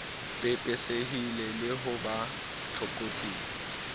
pepesehile le ho ba tlokotsing